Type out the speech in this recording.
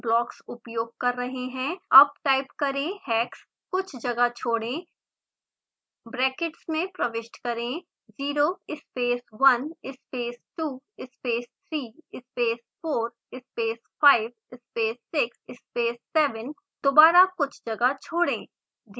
अब टाइप करें hex कुछ जगह छोड़ें ब्रैकेट्स में प्रविष्ट करें 0 space 1 space 2 space 3 space 4 space 5 space 6 space 7 दोबारा कुछ जगह छोड़ें